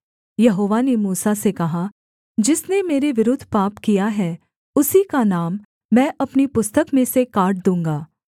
यहोवा ने मूसा से कहा जिसने मेरे विरुद्ध पाप किया है उसी का नाम मैं अपनी पुस्तक में से काट दूँगा